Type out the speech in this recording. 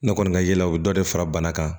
Ne kɔni ka yala u bɛ dɔ de fara bana kan